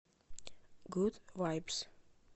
гуд вайбс